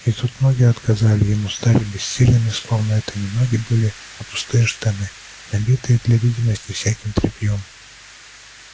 и тут ноги отказали ему стали бессильными словно это и не ноги были а пустые штанины набитые для видимости всяким тряпьём